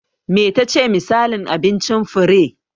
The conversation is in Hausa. Me tace misalin abincin Fure?